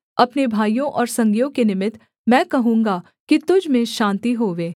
अपने भाइयों और संगियों के निमित्त मैं कहूँगा कि तुझ में शान्ति होवे